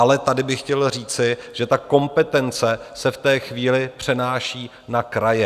Ale tady bych chtěl říci, že ta kompetence se v té chvíli přenáší na kraje.